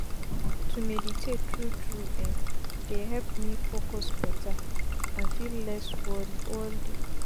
to meditate tru tru eh dey help me focus beta and feel less worri all day